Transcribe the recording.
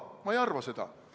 Ma ei arva seda.